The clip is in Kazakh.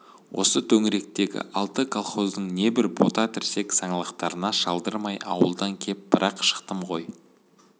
осы төңіректегі алты колхоздың небір бота тірсек саңлақтарына шалдырмай ауылдан кеп бір-ақ шықтым ғой